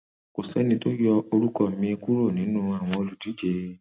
kò sẹni tó yọ orúkọ mi kúrò nínú àwọn olùdíje